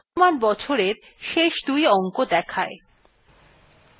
এইটি বর্তমান বছরের শেষ দুই অংক দেখায়